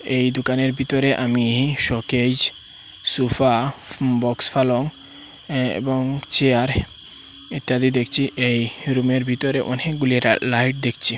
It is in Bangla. এই দুকানের বিতরে আমি শোকেজ সুফা বক্স ফালং এ এবং চেয়ার ইত্যাদি দেখছি এই রুমে বিতরে অনেকগুলি লা লাইট দেখছি।